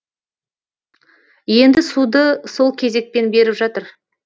енді суды сол кезекпен беріп жатыр